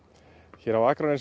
hér á Akranesi